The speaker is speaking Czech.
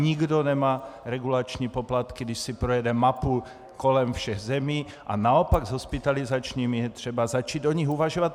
Nikdo nemá regulační poplatky, když si projedeme mapu kolem všech zemí, a naopak s hospitalizačními, je třeba začít o nich uvažovat.